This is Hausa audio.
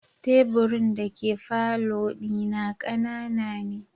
Teburin dake falo dina kanana ne.